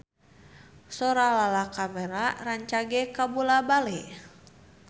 Sora Lala Karmela rancage kabula-bale